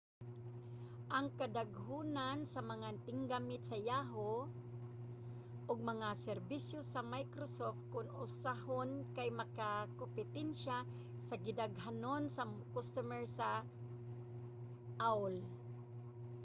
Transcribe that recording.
ang kadaghanon sa mga tiggamit sa yahoo! ug mga serbisyo sa microsoft kon usahon kay makigkompetensya sa gidaghanon sa mga customer sa aol